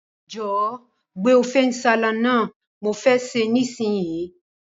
Jòwó gbé Ofe nsala náà, mo fe se nísinyí